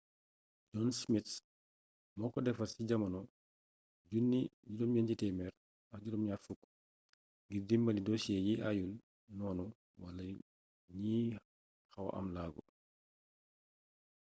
john smith moo ko defar ci jamonoy 1970 ngir dimbali dosiyee yi aayul noonu wala ñi xawa ame laago